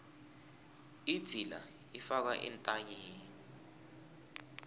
idzila ifakwa entanyeni